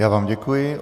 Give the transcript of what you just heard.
Já vám děkuji.